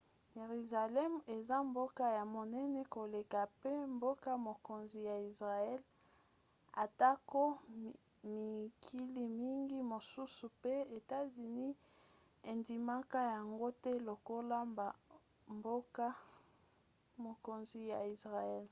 yeruzalemi eza mboka ya monene koleka mpe mboka-mokonzi ya israele atako mikili mingi mosusu mpe etats-unis endimaka yango te lokola mboka-mokonzi ya israele